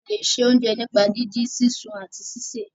a lẹ ṣe oúnjẹ nípa didin, sisùn àti síse.